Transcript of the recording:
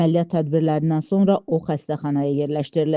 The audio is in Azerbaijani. Əməliyyat tədbirlərindən sonra o xəstəxanaya yerləşdirilib.